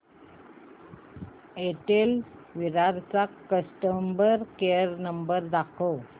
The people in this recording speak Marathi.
एअरटेल विरार चा कस्टमर केअर नंबर दाखव